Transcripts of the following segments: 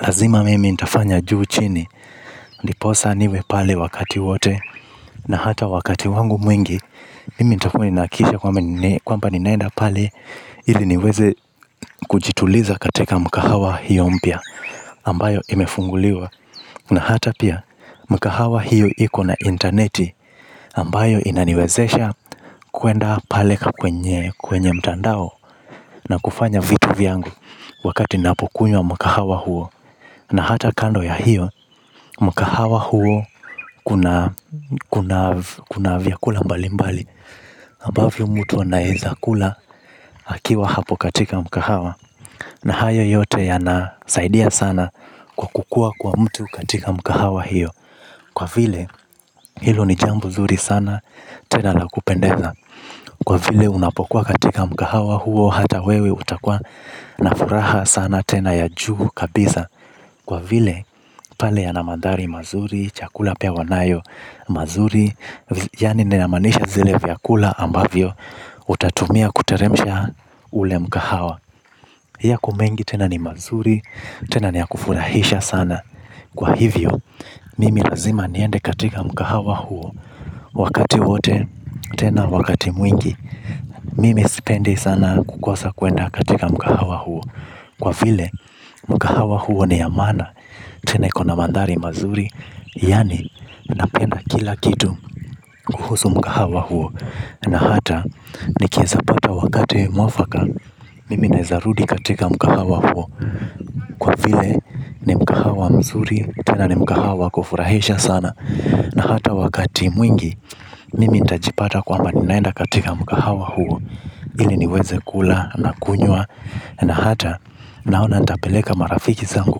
Lazima mimi ntafanya juu chini. Ndiposa niwe pale wakati wote. Na hata wakati wangu mwingi. Mimi ntakua ninahakisha kwamba ninaenda pale. Ili niweze kujituliza katika mkahawa hiyo mpya ambayo imefunguliwa. Na hata pia mkahawa hiyo iko na interneti ambayo inaniwezesha kuenda pale kwenye mtandao. Na kufanya vitu vyangu. Wakati napokunwa mkahawa huo. Na hata kando ya hiyo mkahawa huo kuna vyakula mbalimbali ambavyo mtu anaeza kula akiwa hapo katika mkahawa. Na hayo yote yanasaidia sana kukukua kwa mtu katika mkahawa hiyo. Kwa vile hilo ni jambo zuri sana, tena la kupendeza, kwa vile unapokuwa katika mkahawa huo hata wewe utakuwa na furaha sana tena ya juu kabisa, kwa vile pale yana madhari mazuri, chakula pia wanayo mazuri. Yaani ninamaanisha vile vyakula ambavyo utatumia kuteremsha ule mkahawa. Yako mengi tena ni mazuri, tena ni ya kufurahisha sana. Kwa hivyo, mimi lazima niende katika mkahawa huo. Wakati wote, tena wakati mwingi. Mimi sipendi sana kukosa kuenda katika mkahawa huo, kwa vile mkahawa huo ni ya maana, tena iko na mandhari mazuri. Yaani, napenda kila kitu kuhusu mkahawa huo. Na hata nikiwesa pata wakati mwafaka mimi naweza rudi katika mkahawa huo, kwa vile ni mkahawa mzuri, tena ni mkahawa wa kufurahisha sana. Na hata wakati mwingi mimi nitajipata kwamba ninaenda katika mkahawa huo, ili niweze kula na kunywa na hata naona ntapeleka marafiki zangu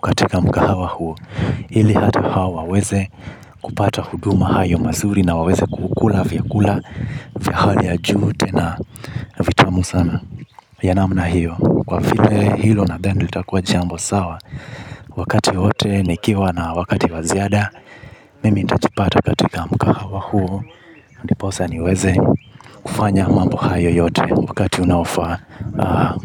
katika mkahawa huo, ili hata hao waweze kupata huduma hayo mazuri na waweze kukula vyakula vya hali ya juu tena vitamu sana. Ya namna hiyo, kwa vile hilo nadhani ndo itakuwa jambo sawa. Wakati wote nikiwa na wakati wa ziada, mimi nitajipata katika mkahawa huo. Ndiposa niweze kufanya mambo hayo yote, wakati unaofaa.